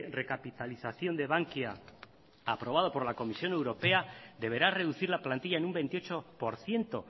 recapitalización de bankia aprobado por la comisión europea deberá reducir la plantilla en un veintiocho por ciento